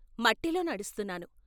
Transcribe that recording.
మట్టిలో నడుస్తున్నాను.